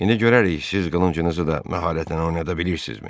İndi görərik, siz qılıncınızı da məharətlə oynada bilirsizmi?